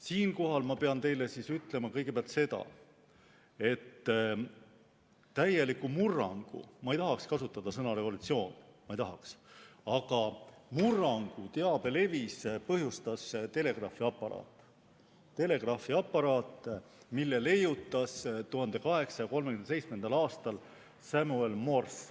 Siinkohal ma pean teile ütlema kõigepealt seda, et täieliku murrangu – ma ei tahaks kasutada sõna "revolutsioon" – teabelevis põhjustas telegraafiaparaat, mille leiutas 1837. aastal Samuel Morse.